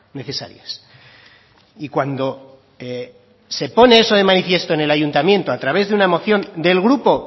necesarias y cuando se pone eso de manifiesto en el ayuntamiento a través de una moción del grupo